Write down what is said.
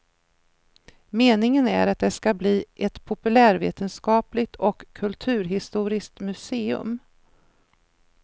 Meningen är att det ska bli ett populärvetenskapligt och kulturhistoriskt museum.